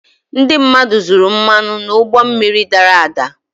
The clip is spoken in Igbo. ndị mmadụ zuru mmanụ n'ụgbọ mmiri dara ada